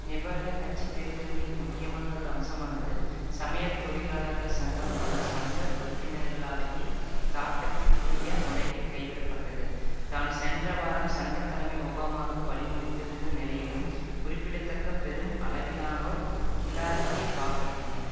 Nevada கட்சி தேர்தல்களின் முக்கியமானதொரு அம்சமானது சமையல் தொழிலாளர்கள் சங்கம் அதன் சொந்த உறுப்பினர்களாலேயே தாக்கத்திற்குரிய முறையில் கைவிடப்பட்டது தான் சென்ற வாரம் சங்க தலைமை ஒபாமாவுக்கு வழிமொழிந்திருந்த நிலையிலும் குறிப்பிடத்தக்க பெரும் அளவிலானோர் ஹிலாரிக்கு வாக்களித்தனர்